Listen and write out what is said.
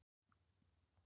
Gefur ekki rétta mynd